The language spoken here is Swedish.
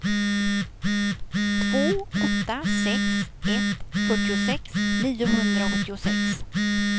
två åtta sex ett fyrtiosex niohundraåttiosex